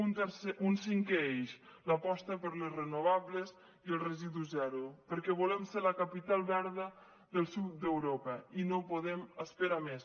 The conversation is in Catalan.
un cinquè eix l’aposta per les renovables i el residu zero perquè volem ser la capital verda del sud d’europa i no podem esperar més